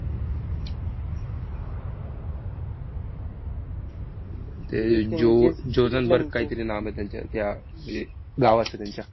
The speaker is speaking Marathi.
ते जो जोधनबर्ग कायतरी नाम आहे त्यांच्या त्या म्हंजे भावाचं त्यांच्या.